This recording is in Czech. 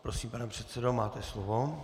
Prosím, pane předsedo, máte slovo.